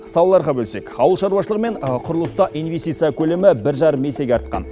салаларға бөлсек ауыл шаруашылығы мен құрылыста инвестиция көлемі бір жарым есеге есеге артқан